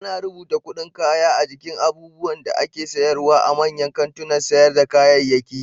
Ana rubuta kuɗin kaya a jikin abinda ake syarwa a manyan kantunan sayar da kayayyaki.